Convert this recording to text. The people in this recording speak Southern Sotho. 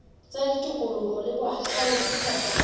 tsa tikoloho le bohahlaudi kapa